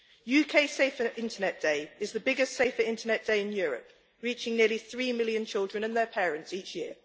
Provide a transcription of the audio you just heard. UK Safer Internet Day is the biggest Safer Internet Day in Europe, reaching nearly three million children and their parents each year.